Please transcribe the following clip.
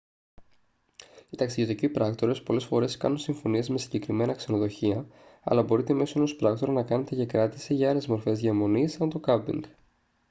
οι ταξιδιωτικοί πράκτορες πολλές φορές κάνουν συμφωνίες με συγκεκριμένα ξενοδοχεία αλλά μπορείτε μέσω ενός πράκτορα να κάνετε και κράτηση για άλλες μορφές διαμονής σαν το κάμπινγκ